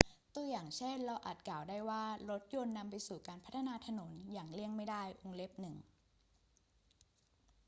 ตัวอย่างเช่น เราอาจกล่าวได้ว่ารถยนต์นำไปสู่การพัฒนาถนนอย่างเลี่ยงไม่ได้ 1